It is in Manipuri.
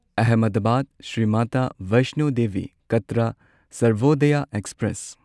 ꯑꯍꯃꯦꯗꯕꯥꯗ ꯁ꯭ꯔꯤ ꯃꯇꯥ ꯚꯥꯢꯁ꯭ꯅꯣ ꯗꯦꯕꯤ ꯀꯥꯇ꯭ꯔ ꯁꯔꯚꯣꯗꯌꯥ ꯑꯦꯛꯁꯄ꯭ꯔꯦꯁ